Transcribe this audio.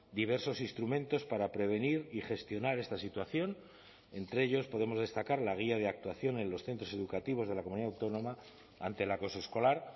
diversos instrumentos para prevenir y gestionar esta situación entre ellos podemos destacar la guía de actuación en los centros educativos de la comunidad autónoma ante el acoso escolar